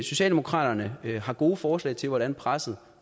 socialdemokraterne har gode forslag til hvordan presset